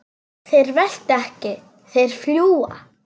Þeir velta ekki, þeir fljúga.